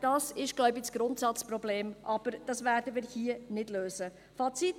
Das ist das Grundsatzproblem, welches wir hier jedoch nicht lösen werden.